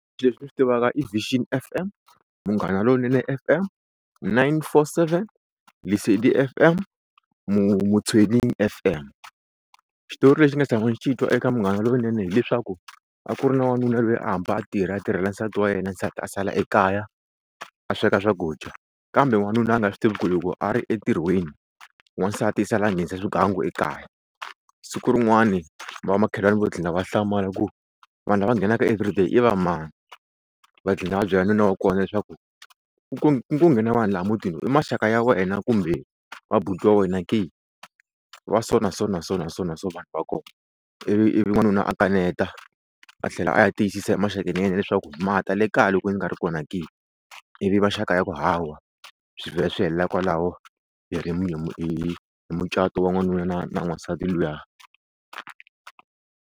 Leswi ndzi swi tivaka i Vision F_M, Munghana Lonene F_M, Nine Four Seven, Lesedi F_M Motsweding F_M. Xitori lexi ni nga tsama ndzi xi twa eka Munghana Lowunene hileswaku a ku ri na wanuna loyi a hamba a tirha a tirhela nsati wa yena nsati a sala ekaya a sweka swakudya kambe wanuna a nga swi tivi ku ri loko a ri entirhweni wansati i sala a nghenisa swigangu ekaya, Siku rin'wani va makhelwani va tlhela va hlamala ku vanhu lava va nghenaka everyday i va mani va gcina va byela nuna wa kona leswaku ku ku ngo nghena vanhu laha mutini i maxaka ya wena kumbe i va buti wa wena ke, wa so na so na so na so vanhu va kona ivi ivi wanuna a kaneta a tlhela a ya tiyisisa emaxakeni ya yena leswaku ma ta le kaya loko ndzi nga ri kona ke ivi maxaka ma ku hawa swi vhela swi helela kwalaho hi hi hi mucato wa wanuna na na wansati luya.